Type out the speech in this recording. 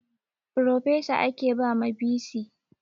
Frofesa ake ba ma bc